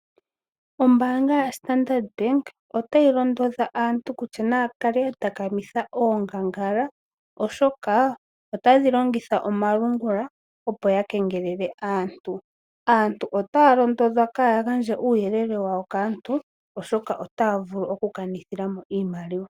Ombanga yoStandardbank otayi londodha aantu kutya naya kale yatakamitha oongangala, oshoka otadhi longitha omalungula opoya kengelele aantu. Aantu otaya londodhwa kaya gandje uuyelele wawo kaantu, oshoka otaya vulu oku kanithilamo iimaliwa.